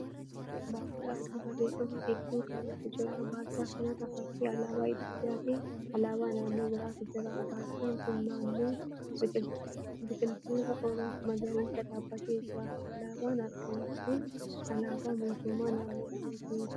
Barjaa adii barreeffama hedduu qabutu jira. Barjaa kanarra fakkii alaabaa Itiyoopiyaa fi alaabaa naannoo biraatu jira. Barjaan kun naannoo biqiloota magariisaa dhaabbatee jira. Alaabaan argamu sun alaabaa mootummaa naannoo kamiiti?